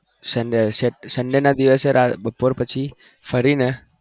sunday ના દિવસે બપોર પછી ફરીને